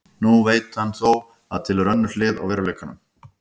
Nú veit hann þó að til er önnur hlið á veruleikanum.